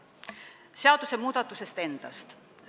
Nüüd seadusmuudatusest endast.